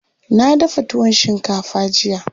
Na dafa tuwon shinkafa jiya.